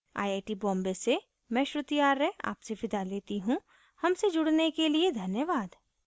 I I T Bombay से मैं श्रुति आर्य आपसे विदा लेती हूँ हमसे जुड़ने के लिए धन्यवाद